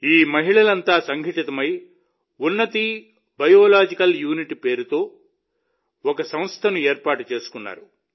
ఈ మహిళలంతా సంఘటితమై ఉన్నతి బయోలాజికల్ యూనిట్ పేరుతో ఒక సంస్థను ఏర్పాటు చేసుకున్నారు